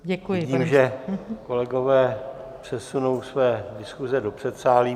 Vidím, že kolegové přesunou své diskuse do předsálí.